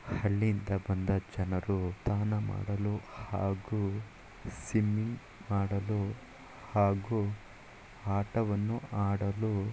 ಹಳ್ಳಿಯಿಂದ ಬಂದ ಜನರು ತಾನ ಮಾಡಲು ಹಾಗೂ ಸಿಮ್ಮಿಂಗ್ ಮಾಡಲು ಹಾಗೂ ಹಾಟವನ್ನು ಆಡಲು--